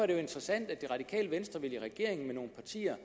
interessant at det radikale venstre vil i regering med nogle partier